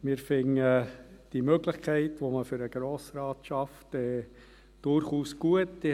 Wir finden diese Möglichkeit, die man für den Grossen Rat schafft, durchaus gut.